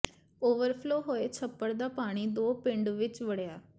overflow ਹੋਏ ਛੱਪੜ ਦਾ ਪਾਣੀ ਦੋ ਪਿੰਡਾਂ ਵਿੱਚ ਵੜਿਆ